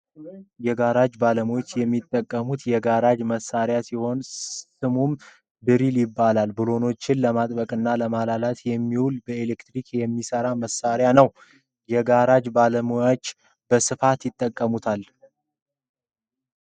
የጋራጅ ባለሞያወች እሚጠቀሙት የ ጋራጅ መሳርያ ሲሆን ስሙም ጅሪል ይባላል ብሎኖችንን ለማጥበቅና ለማላላት የሚውል በኤሌክትሪክ የሚሰራ መሳርያ ነው ። የጋራጅ ባለሞያወች በስፉት ይጠቀሙታል።